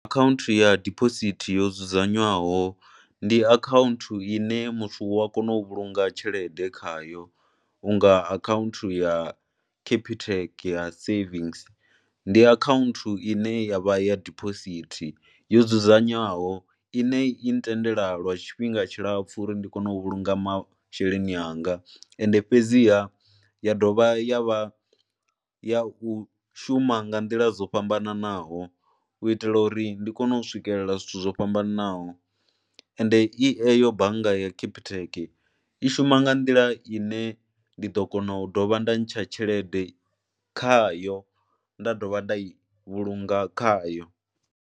Akhaunthu ya diphosithi yo dzudzanywaho ndi akhauunthu ine muthu u a kone u vhulunga tshelede khayo u nga akhaunthu ya Capitec ya savings, ndi akhaunthu ine ya vha ya diphosithi yo dzudzanywaho ine i ntendela lwa tshifhinga tshilapfhu uri ndi kone u vhulunga masheleni anga, ende fhedziha ya dovha ya vha ya u shuma nga nḓila dzo fhambananaho u itela uri ndi kone u swikelela zwithu zwo fhambananaho, ende i eyo bannga ya Capitec i shuma nga nḓila ine ndi ḓo kona u dovha nda ntsha tshelede khayo nda dovha nda i vhulunga khayo.